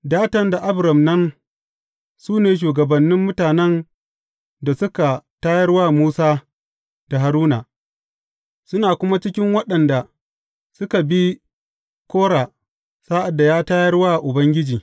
Datan da Abiram nan, su ne shugabannin mutanen da suka tayar wa Musa da Haruna, suna kuma cikin waɗanda suka bi Kora sa’ad da ya tayar wa Ubangiji.